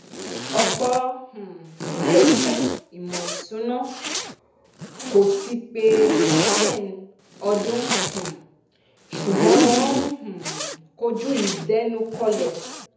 ọ̀pọ̀ um iléeṣẹ́ ìmọ̀ ìsúná kò ti pé ten ọdún um ṣùgbọ́n wọ́n ń um kojú ìdẹnukọlẹ̀.